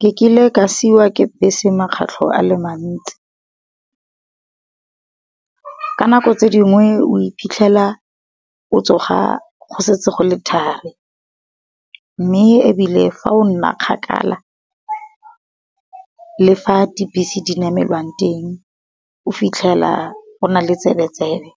Ke kile ka siwa ke bese makgetlho a le mantsi. Ka nako tse di ngwe o iphitlhela o tsoga go setse go le thari, mme ebile fa o nna kgakala le fa di bese di namelwang teng. O fitlhela o na le tsebe-tsebe